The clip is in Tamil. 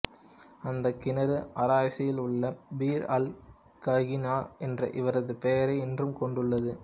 அந்தக் கிணறு ஆரஸில் உள்ள பிர் அல் ககினா என்ற இவரது பெயரை இன்றும் கொண்டுள்ளது